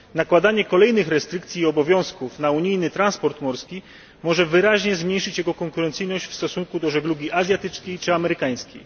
Nakładanie kolejnych restrykcji i obowiązków na unijny transport morski może wyraźnie zmniejszyć jego konkurencyjność w stosunku do żeglugi azjatyckiej czy amerykańskiej.